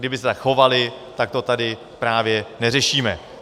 Kdyby se tak chovaly, tak to tady právě neřešíme.